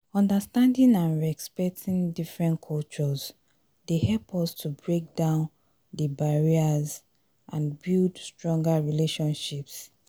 understanding and respecting different cultures dey help us to break down di barriers and build stronger relationships.